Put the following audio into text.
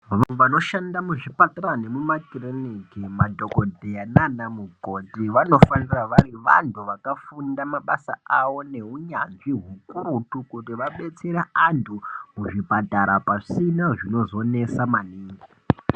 Vantu vanoshanda muzvipatara mumakiriniki, madhokodheya naana mukoti vanofanira vari vantu vakafunda mabasa avo neunyanzvi hukurutu. Kuti vadetsere antu muzvipatara pasina zvinozonesa maningi.